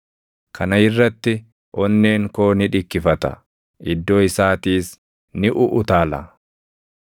“Kana irratti onneen koo ni dhikkifata; iddoo isaatiis ni uʼutaala.